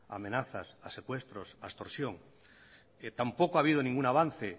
amenaza a secuestros a extorsión tampoco ha habido ningún avance